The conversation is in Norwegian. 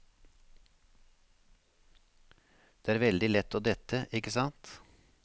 Det er veldig lett å dette, ikke sant.